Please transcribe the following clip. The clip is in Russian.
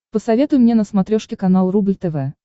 посоветуй мне на смотрешке канал рубль тв